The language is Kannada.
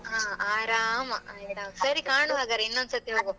ಹಾ ಆರಾಮ ಈಗ ನಾವ್ ಸರಿ ಕಾಣುವ ಹಾಗಾದ್ರೆ ಇನ್ನೊಂದ್ ಸತಿ ಹೋಗುವ movie ಗೆ